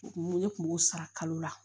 Ne kun b'o sara kalo la